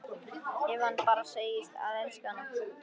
Ef hann bara segðist elska hana: